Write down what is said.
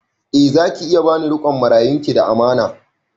Eh za ki iya ba ni riƙon marayun ki da amana